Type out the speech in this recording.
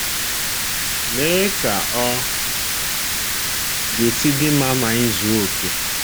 Lee ka ọ ga-esi dị mma ma anyị zuo okè!